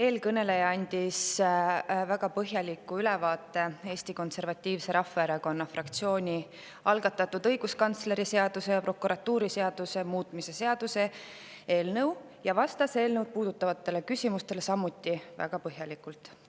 Eelkõneleja andis väga põhjaliku ülevaate Eesti Konservatiivse Rahvaerakonna fraktsiooni algatatud õiguskantsleri seaduse ja prokuratuuriseaduse muutmise seaduse eelnõust ja vastas eelnõu puudutavatele küsimustele samuti väga põhjalikult.